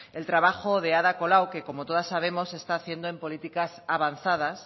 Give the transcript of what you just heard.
el trabajo de ada colau que como todas sabemos está haciendo políticas avanzadas